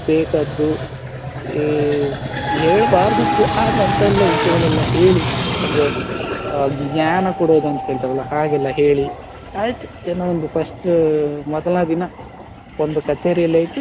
ಬೇಕಾದ್ದು ಏ ಹೇಳ್ಬಾರ್ದಿತ್ತು ಆದ್ರೂ ಅಂತ ಎಲ್ಲ ವಿಷಯಗಳೆಲ್ಲ ಹೇಳಿ ಅಂದ್ರೆ ಆ ಜ್ಞಾನ ಕೊಡೋದು ಅಂತ ಹೇಳ್ತಾರೆ ಅಲ್ಲ ಹಾಗೆಲ್ಲ ಹೇಳಿ ಆಯ್ತು ಏನೋ ಒಂದು first ಮೊದಲ ದಿನ ಒಂದು ಕಚೇರಿಯಲ್ಲಿ ಆಯ್ತು,